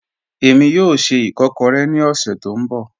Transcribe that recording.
Ẹ̀mi yóò ṣẹ́ ìkọ̀kọ̀rẹ̀ ni ọ̀ṣẹ̀ tó nbọ̀